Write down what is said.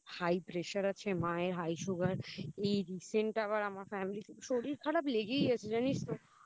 আর High pressure আছে মায়ের High sugar এই Recent আবার আমার Family তে শরীর খারাপ লেগেই আছে জানিস তো